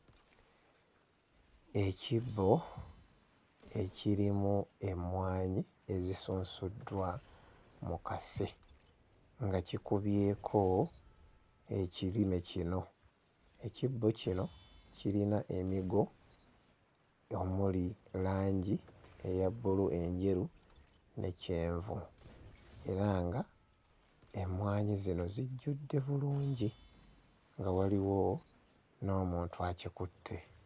Ekibbo ekirimu emmwanyi ezisunsuddwa mu kase nga kikubyeko ekirime kino ekibbo kino kirina emigo omuli langi eya bbulu, enjeru ne kyenvu era nga emmwanyi zino zijjudde bulungi nga waliwo n'omuntu akikutte.